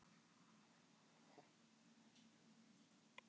Verðhjöðnun síðustu mánuði